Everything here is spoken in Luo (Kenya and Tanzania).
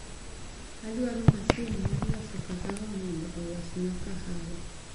Adwaro masin mar loso kahawa mondo olosna kahawa.